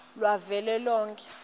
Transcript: lwavelonkhe